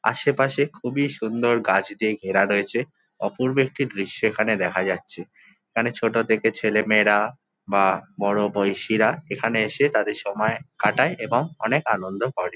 আশেপাশে খুবই সুন্দর গাছ দিয়ে ঘেরা রয়েছে। অপূর্ব একটি দৃশ্য এখানে দেখা যাচ্ছে। এখানে ছোট দেখে ছেলে মেয়েরা বা বড় বয়সীরা এখানে এসে তাদের সময় কাটায় এবং অনেক আনন্দ করে।